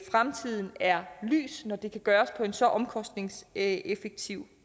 fremtiden er lys når det kan gøres på en så omkostningseffektiv